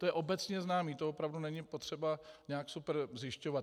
To je obecně známé, to opravdu není potřeba nějak super zjišťovat.